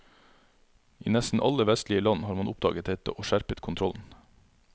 I nesten alle vestlige land har man oppdaget dette og skjerpet kontrollen.